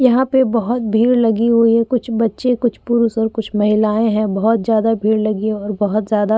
यहाँ पे बोहोत भीड़ लगी हुई है। कुछ बच्चे कुछ पुरुष और कुछ महिलायें हैं। बहोत जादा भीड़ लगी है और बोहोत जादा --